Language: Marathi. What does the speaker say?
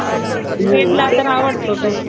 आवडतो